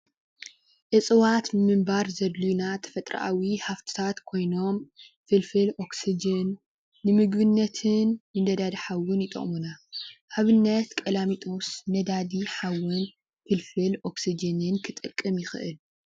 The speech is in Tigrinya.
እፅዋት ንምባር ዘድልዩና ተፈጥሮኣዊ ሃፍቲታት ኮይኖም ፍልፍል ኦክስጅን፣ ንምግብነትን፣ ንነዳዲ ሓዊን ይጠቅሙና፡፡ ኣብነት ቀላሚጦስ ነዳዲ ሓዊ ፍልፍል ኦክስጅንን ክጠቅም ይክእል፡፡